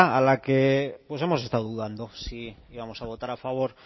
a la que pues hemos estado dudando si íbamos a votar a favor